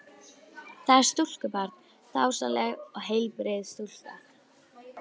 Það er stúlkubarn, dásamleg og heilbrigð stúlka.